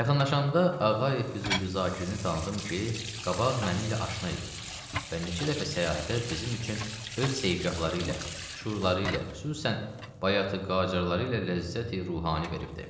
Yaxınlaşanda Ağayev Füzuli Zakirini tanıdım ki, qabaq mənimlə aşna idi və neçə dəfə səyahətə bizim üçün öz seyigahları ilə, şurları ilə, xüsusən Bayatı-Qacarları ilə ləzzəti ruhani veribdi.